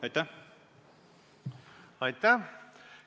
Aitäh!